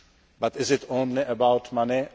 very clear. But is it only